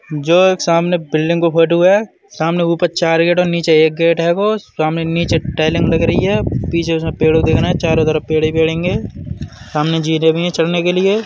जो एक सामने बिल्डिंग को फोटो है। सामने ऊपर चार गेट और नीचे एक गेट हैगो । सामने नीचे टाईलिंग लग रही हैं। पीछे से पेड़ दिख रहे हैं। चारो तरफ पेड़ ही पेड़ हैंगे सामने जीने भी हैं चढ़ने के लिए।